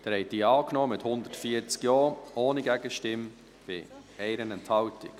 Sie haben diese Planungserklärung mit 140 JaStimmen angenommen, ohne Gegenstimme bei 1 Enthaltung.